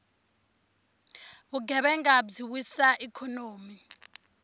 vugevhenga byi wisa ikhonomi